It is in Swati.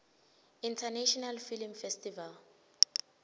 international film festival